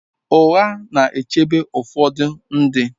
Ụgha na-echebe ụfọdụ ndị.